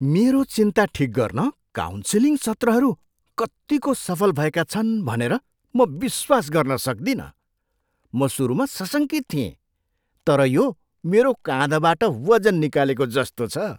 मेरो चिन्ता ठिक गर्न काउन्सिलिङ सत्रहरू कत्तिको सफल भएका छन् भनेर म विश्वास गर्न सक्दिनँ। म सुरुमा सशङ्कित थिएँ, तर यो मेरो काँधबाट वजन निकालेको जस्तो छ।